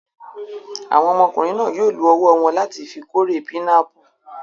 Àwọn ọmọkùnrin náà yóò lo ọwọ́ wọn láti fi kórè pinápù.